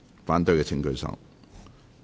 反對的請舉手。